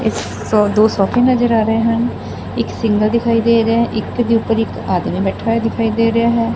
ਦੋ ਸੋਫੇ ਨਜ਼ਰ ਆ ਰਹੇ ਹਨ ਇਕ ਸਿੰਗਲ ਦਿਖਾਈ ਦੇ ਰਿਹਾ ਇੱਕ ਦੇ ਉੱਪਰ ਇੱਕ ਆਦਮੀ ਬੈਠਾ ਦਿਖਾਈ ਦੇ ਰਿਹਾ ਹੈ।